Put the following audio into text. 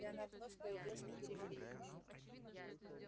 и она вновь появилась на периферии